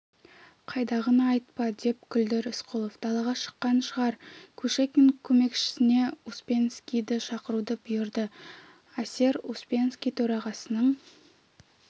қайдағыны айтпа деп күлді рысқұлов далаға шыққан шығар кушекин көмекшісіне успенскийді шақыруды бұйырды эсер успенский төрағасының